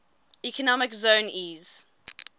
economic zone eez